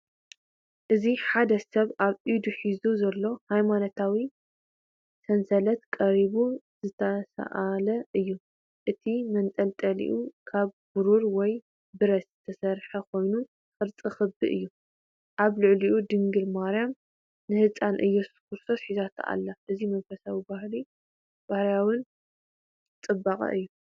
እዚ ሓደ ሰብ ኣብ ኢዱ ሒዙ ዘሎ ሃይማኖታዊ ሰንሰለት ብቐረባ ዝተሳእለ እዩ። እቲ መንጠልጠሊ ካብ ብሩር ወይ ብረት ዝተሰርሐ ኮይኑ ቅርጹ ክቢ እዩ። ኣብ ልዕሊኡ ድንግል ማርያም ንህጻን ኢየሱስ ክርስቶስ ሒዛቶ ኣላ። እዚ መንፈሳውን ባህላውን ጽባቐ እዩ።